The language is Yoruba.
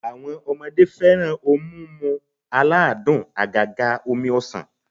Awo̩n o̩mo̩de fe̩ran oun mimu aladun àgàgà omi ọsàn